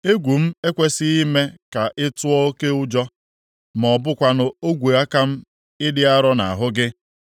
Egwu m ekwesighị ime ka ị tụọ oke ụjọ, ma ọ bụkwanụ ogwe aka m ịdị arọ nʼahụ gị.